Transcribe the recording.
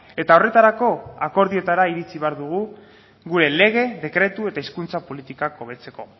eta horretarako akordioetara iritxi behar dugu gure lege dekretu eta hizkuntza politikak hobetzeko